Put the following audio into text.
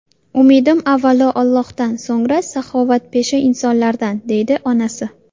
Umidim avvalo Allohdan, so‘ngra saxovatpesha insonlardan”, deydi onasi.